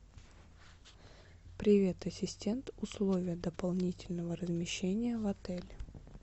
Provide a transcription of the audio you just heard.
привет ассистент условия дополнительного размещения в отеле